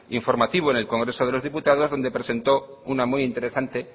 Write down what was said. informativo en el congreso de los diputados donde presentó una muy interesante